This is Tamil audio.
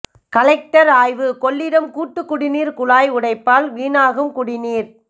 கலெக்டர் ஆய்வு கொள்ளிடம் கூட்டு குடிநீர் குழாய் உடைப்பால் வீணாகும் குடிநீர்